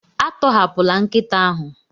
Atọhapụla nkịta ahụ.